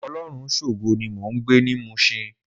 Olorunshogo ni mó n gbé ni Mushin